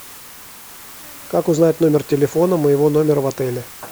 как узнать номер телефона моего номера в отеле